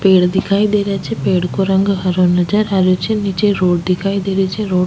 पेड़ दिखाई दे रहे छे पेड़ को रंग हरो नजर आ रहियो छे नीचे रोड दिखाई दे रही छे रोड --